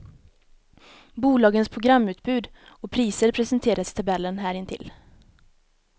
Bolagens programutbud och priser presenteras i tabellen här intill.